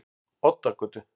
Oddagötu